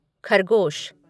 खरगोश